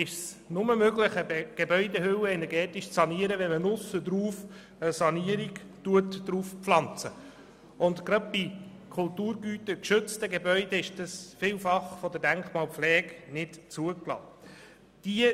Oft ist es nur möglich, eine Gebäudehülle energetisch zu sanieren, indem auf diese eine Sanierung aufgepfropft wird, was bei geschützten Gebäuden von der Denkmalpflege oft nicht zugelassen wird.